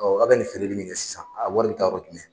a bɛ nin feereli min kɛ sisan a wari bɛ taa yɔrɔ jumɛn?